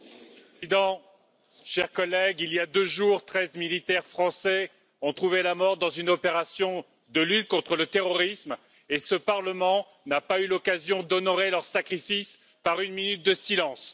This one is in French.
Monsieur le Président, chers collègues, il y a deux jours, treize militaires français ont trouvé la mort dans une opération de lutte contre le terrorisme et ce parlement n'a pas eu l'occasion d'honorer leur sacrifice par une minute de silence.